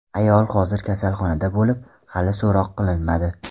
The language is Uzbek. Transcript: Ayol hozir kasalxonada bo‘lib, hali so‘roq qilinmadi.